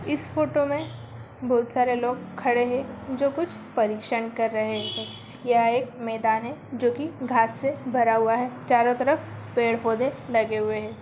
इस फोटो में बहुत सारे लोग खड़े हैं जो कुछ परीक्षण कर रहे हैं। यह एक मैदान है जोकि घांस से भरा हुआ है। चारो तरफ पेड़-पौधे लगे हुए हैं।